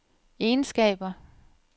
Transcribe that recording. egenskaber